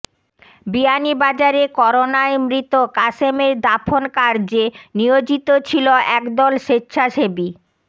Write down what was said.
বিয়ানীবাজারে করোনায় মৃত কাশেমের দাফন কার্যে নিয়োজিত ছিল একদল স্বেচ্ছাসেবী